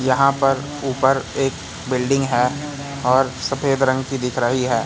यहां पर ऊपर एक बिल्डिंग है और सफेद रंग की दिख रही है।